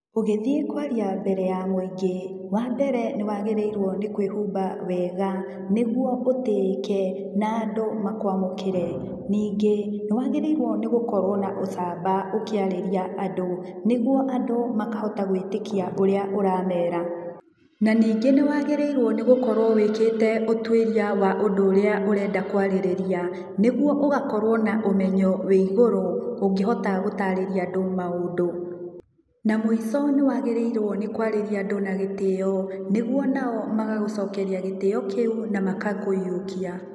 Ũgĩthiĩ kũaria mbere ya mũingĩ, wa mbere nĩ kwĩhumba wega, nĩguo ũtĩĩke na andũ makũamũkĩre. Na ningĩ, nĩ wagĩrĩirwo gũkorwo na ũcamba ũkĩarĩria andũ, nĩguo andũ makahota gwĩtĩkia ũrĩa ũramera. Na ningĩ nĩ waagĩrĩirwo nĩ gũkorwo wĩkĩte ũtuĩria wa ũndũ ũrĩa ũrenda kwarĩrĩria, nĩguo ũgakorwo na ũmenyo wĩ igũrũ, ũngĩhota gũtaarĩria andũ maũndũ. Na mũico nĩ waagĩrĩirwo nĩ kũarĩria andũ na gĩtĩo, nĩguo ona o, magagũcokeria gĩtĩo kĩu, na makakũiyũkia.